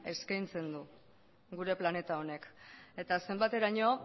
eskaintzen du gure planeta honek eta zenbateraino